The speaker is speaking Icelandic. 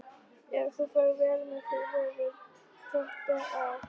Ef þú ferð vel með þig hefurðu þetta af.